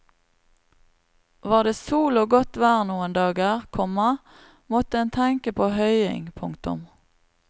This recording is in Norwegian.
Var det sol og godt vær noen dager, komma måtte en tenke på høying. punktum